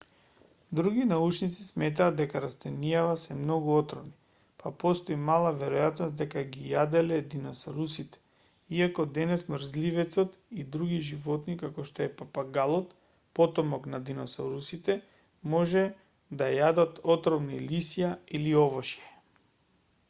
други научници сметаат дека растенијава се многу отровни па постои мала веројатност дека ги јаделе диносаурусите иако денес мрзливецот и други животни како што е папагалот потомок на диносаурусите може да јадат отровни лисја или овошје